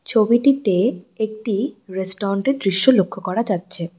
ছবিটিতে একটি রেস্টরেন্ট এর দৃশ্য লক্ষ করা যাচ্ছে।